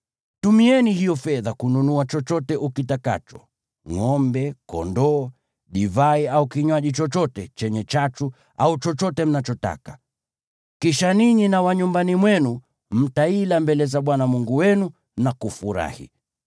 Tumieni hiyo fedha kununua chochote ukitakacho: ngʼombe, kondoo, divai au kinywaji chochote chenye chachu au chochote mnachotaka. Kisha ninyi na wa nyumbani mwenu mtaila mbele za Bwana Mungu wenu na kufurahi.